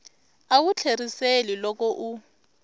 a wu tlheriseli loko u